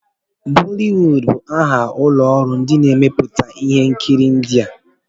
Bọliwud bụ aha ụlọ ọrụ ndị na-emepụta ihe nkiri India.